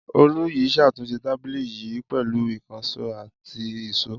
Olú yìí ṣàtúnṣe tábìlì yìí pẹ̀lú ìkànṣó àti ìṣó.